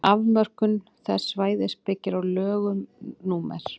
afmörkun þess svæðis byggir á lögum númer